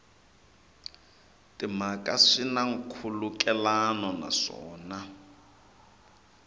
timhaka swi na nkhulukelano naswona